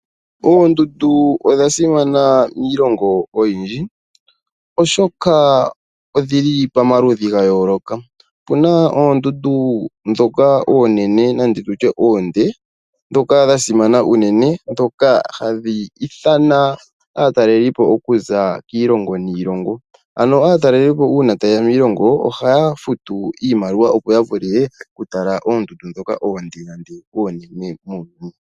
Ondundu odha simana miilongo oyindji oshoka odhili pomaludhi ga yooloka. Opuna oondundu ndhoka oonene nenge tutye oonde ndhoka dha simana unene ndhoka hadhi ithana aatalelipo okuza kiilongo niilongo. Aatalelipo uuna tayeya miilongo ohaya futu iimaliwa opo yavule okutala oondundu ndhoka dhili oonde muuyuni.